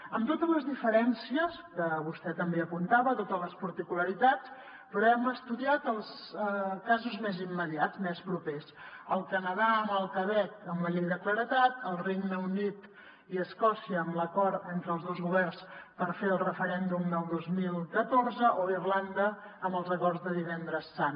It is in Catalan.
amb totes les diferències que vostè també ho apuntava totes les particularitats però hem estudiat els casos més immediats més propers el canadà amb el quebec amb la llei de claredat el regne unit i escòcia amb l’acord entre els dos governs per fer el referèndum del dos mil catorze o irlanda amb els acords de divendres sant